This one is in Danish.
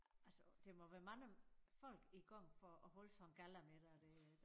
Altså der må være mange folk i gang for at holde sådan en gallamiddag der